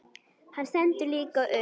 Hann stendur líka upp.